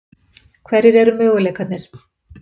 Hverjir eru möguleikarnir?